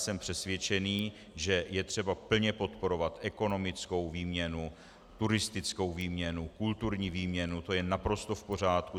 Jsem přesvědčen, že je třeba plně podporovat ekonomickou výměnu, turistickou výměnu, kulturní výměnu, to je naprosto v pořádku.